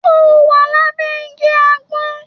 Ṣo wà lábẹ́ igi àgbọn?